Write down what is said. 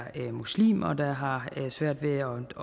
muslimer der har svært ved at